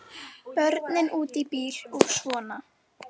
Börnin úti í bíl og svona.